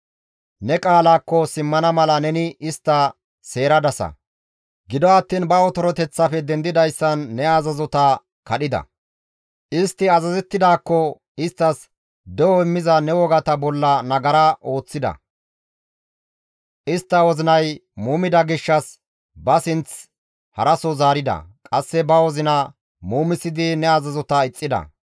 Ne qaalaakko simmana mala neni istta seeradasa; gido attiin ba otoroteththafe dendidayssan ne azazota kadhida; istti azazettidaakko isttas de7o immiza ne wogata bolla nagara ooththida. Istta wozinay muumida gishshas ba sinth haraso zaarida; qasse ba wozina muumisidi ne azazota ixxida.